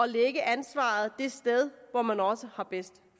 lægge ansvaret det sted hvor man også har bedst